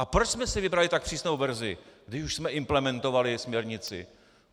A proč jsme si vybrali tak přísnou verzi, když už jsme implementovali směrnici?